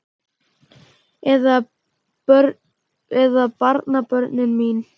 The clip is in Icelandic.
Eða barnabörnin mín?